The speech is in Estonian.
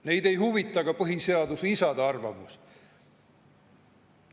Neid ei huvita ka põhiseaduse isade arvamus.